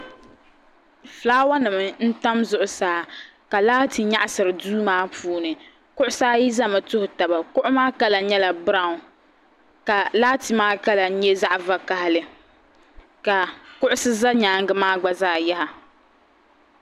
Fulaawanima n-tam zuɣusaa ka laati nyaɣisiri duu maa puuni kuɣusi ayi zami tuhi taba kuɣu maa kama nyɛla biranwu ka laati maa kala nyɛ zaɣ'vakahili ka kuɣusi za nyaaŋa maa gba zaa yaha.